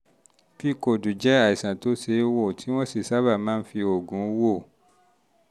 pcod jẹ́ àìsàn tó ṣe é wò tí wọ́n sì sábà máa ń fi oògùn wò